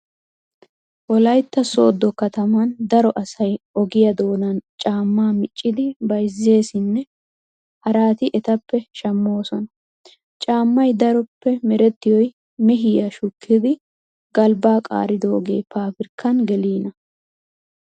Wolaytta sooddo katamaan daro asay ogiyaa doonan caamma miccidi bayzzeesinne haraati etappe shammoosona. Caammay daroppe merettiyoy mehiyaa shukkidi galbbaa qaaridoogee faabirkkan geliina.